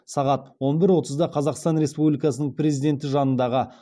сағат он бір отызда қазақстан республикасының президенті жанындағы